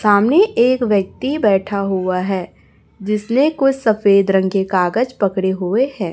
सामने एक व्यक्ति बैठा हुआ है जिसने कोई सफेद रंग के कागज पकड़े हुए है।